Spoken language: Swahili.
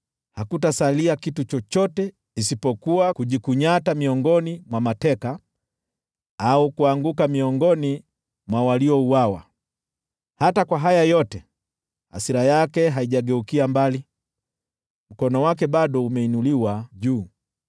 Hakutasalia kitu chochote, isipokuwa kujikunyata miongoni mwa mateka, au kuanguka miongoni mwa waliouawa. Hata kwa haya yote, hasira yake haijageukia mbali, mkono wake bado umeinuliwa juu.